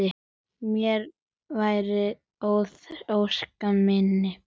Mér varð að ósk minni.